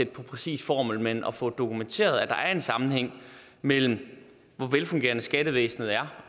præcis formel men og få dokumenteret at der er en sammenhæng mellem hvor velfungerende skattevæsenet er